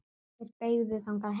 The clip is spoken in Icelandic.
Þeir beygðu þangað heim.